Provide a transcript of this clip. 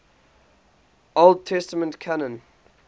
old testament canon